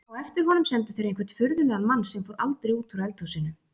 Á eftir honum sendu þeir einhvern furðulegan mann sem fór aldrei út úr eldhúsinu.